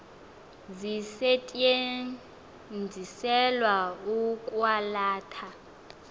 zisetyenziselwa ukwa latha